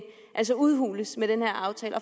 altså udhules med den her aftale